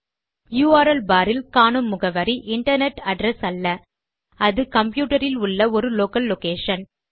URL barஇல் காணும் முகவரி இன்டர்நெட் அட்ரெஸ் அல்ல அது கம்ப்யூட்டர் இல் உள்ள ஒரு லோக்கல் லொகேஷன்